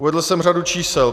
Uvedl jsem řadu čísel.